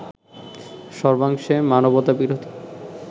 সর্বাংশে মানবতাবিরোধী